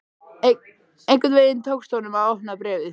Einhvern veginn tókst honum að opna bréfið.